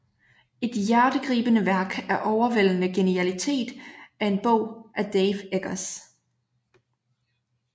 Et hjertegribende værk af overvældende genialitet er en bog af Dave Eggers